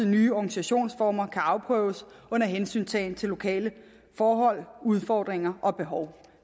nye organisationsformer kan afprøves under hensyntagen til lokale forhold udfordringer og behov